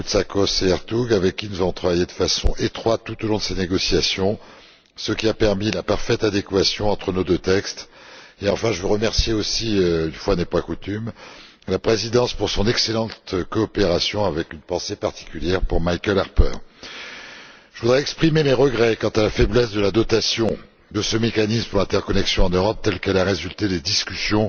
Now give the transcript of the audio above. Koumoutsakos et Ertug, avec qui nous avons travaillé de façon étroite tout au long de ces négociations, ce qui a permis la parfaite adéquation entre nos deux textes. Enfin, je veux aussi remercier une fois n'est pas coutume la Présidence pour son excellente coopération, avec une pensée particulière pour Michael Harper. Je voudrais exprimer mes regrets quant à la faiblesse de la dotation de ce mécanisme pour l'interconnexion en Europe telle qu'elle a résulté des discussions